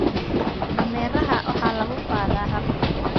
Dameeraha waxa lagu qaadaa rar.